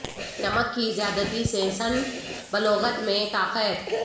نمک کی زیادتی سے سن بلوغت میں تاخیر